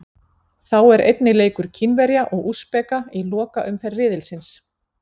Þá er einnig leikur Kínverja og Úsbeka í lokaumferð riðilsins.